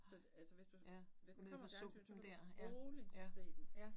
Så altså hvis du hvis den kommer i fjernsynet, så kan du roligt se den